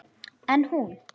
En hún.